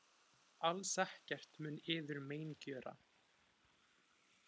Alls ekkert mun yður mein gjöra.